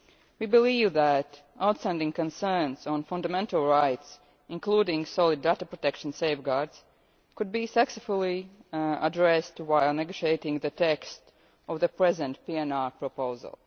We believe that the outstanding concerns on fundamental rights, including solid data protection safeguards, could be successfully addressed while negotiating the text of the present PNR proposal.